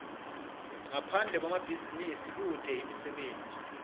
ngaphande kwemabhizinisi kute imisebenti